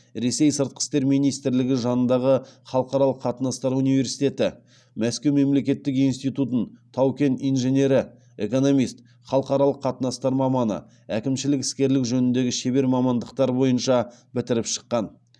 ресей сыртқы істер министрлігі жанындағы халықаралық қатынастар университеті мәскеу мемлекеттік институтын тау кен инженері экономист халықаралық қатынастар маманы әкімшілік іскерлік жөніндегі шебер мамандықтары бойынша бітіріп шыққан